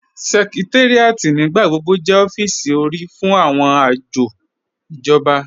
Sẹ̀kẹ̀táríàtì nígbàgbọ̀gbọ̀ jẹ́ ọ̀fíìsì orí fún awọn ajọ̀ ijọ̀ba.